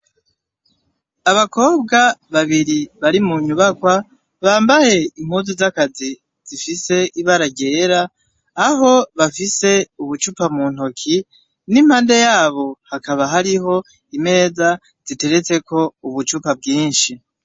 Abakobwa babiri bari munyubakwa ,bambaye impuzu zakazi zifise ibara ryera, aho bafise ubucupa muntoke , nimpande yabo hakaba hariho imeza ziteretseko ubucupa bwinshi.